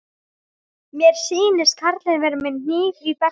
Mér sýnist karlinn vera með hníf í beltinu.